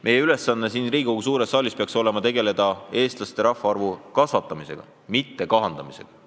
Meie ülesanne siin Riigikogu suures saalis peaks olema tegeleda Eesti kodanike arvu kasvatamisega, mitte kahandamisega.